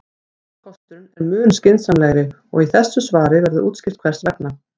Seinni kosturinn er mun skynsamlegri og í þessu svari verður útskýrt hvers vegna.